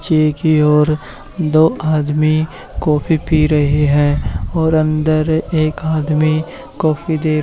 पीछे की ओर दो आदमी कॉफी पी रहे हैं और अंदर एक आदमी कॉफी दे--